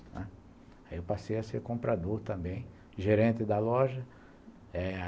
Aí eu passei a ser comprador também, gerente da loja eh